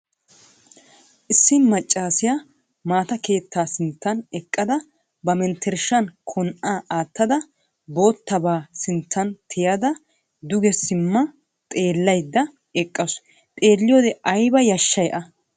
Issi maccaasiya mata keettaa sinttan eqqada ba menttershshan Kon"aa aattada boottabaa sinttan tiyettada dugesimma xeellayidda eqqaasu. Xeelliyode ayiba yashshay a!.